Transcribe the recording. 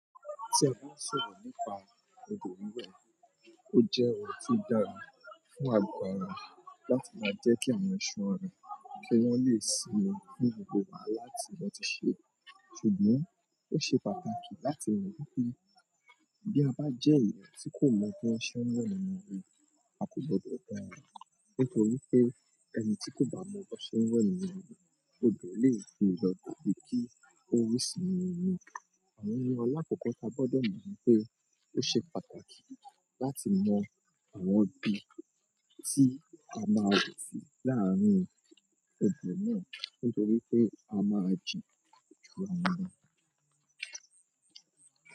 Ṣe ìgbọ́nsèwọ̀n nípa odò wíwẹ̀ ó jẹ́ ohun tí ó dára fún àgọ́ ara láti máa jẹ́ kí àwọn iṣan ara pé wọ́n lè sinmi ní gbogbo wàhálà tí wọ́n ti ṣe, ṣùgbọ́n ó ṣe pàtàkì láti mọ̀ wípé bí a bá jẹ́ èèyàn tí kò mọ bí wọ́n ṣe ń wẹ̀ nínú omi, a kò gbọdọ̀ dára nítorí pé ẹni tí kò bá mọ bí wọ́n ṣe ń wẹ̀ nínú rí, odò lè gbé e lọ tàbí kí ó rì sínú omi. Mò ń lọ lákọ̀ọ́kọ́ táa gbọ́dọ̀ mọ̀ ni pé, ó ṣe pàtàkì láti mọ àwọn ibi tí a máa wẹ̀ sí láàárín odò náà nítorí pé a máa jìn ju àwọn mìíràn lọ.